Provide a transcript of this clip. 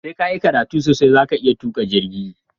Sai kayi karatu sosai zaka iya tuƙa jirgi